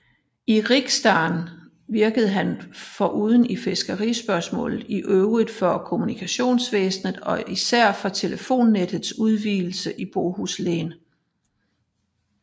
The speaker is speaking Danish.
I riksdagen virkede han foruden i fiskerispørgsmål i øvrigt for kommunikationsvæsenet og især for telefonnettets udvidelse i Bohuslän